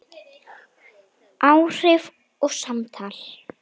Áhrif og samtal